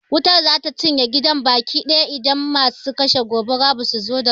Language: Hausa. Wutar za ta cinye gidan baki ɗaya idan masu kashe gobara ba su zo da wuri ba.